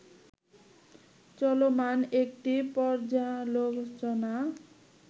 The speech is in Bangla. চলমান একটি পর্যালোচনা